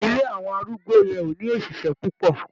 Ilé àwọn arúgbó yẹn ò ní òṣìṣẹ́ púpọ̀.